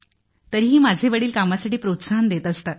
तरीही माझे वडील कामासाठी प्रोत्साहन देत असतात